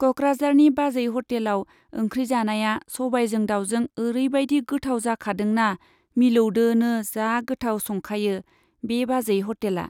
क'क्राझारनि बाजै ह'टेलाव ओंख्रि जानाया सबायजों दाउजों ओरैबायदि गोथाव जाखादोंना मिलौदोनो जा गोथाव संखायो बे बाजै हटेला।